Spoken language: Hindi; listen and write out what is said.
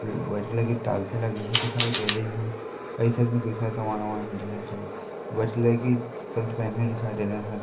व्हाइट कलर की टाइलसे लगी हुई दिखाई दे रही है। वाइट कलर की शर्ट पेहने दिखाई दे रहे है।